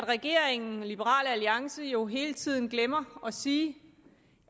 regeringen og liberal alliance jo hele tiden glemmer at sige